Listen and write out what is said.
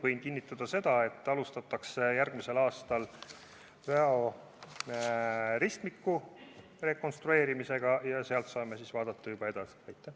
Võin kinnitada, et järgmisel aastal alustatakse Väo ristmiku rekonstrueerimist ja siis saame juba edasi vaadata.